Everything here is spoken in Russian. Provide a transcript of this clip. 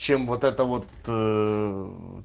чем вот это вот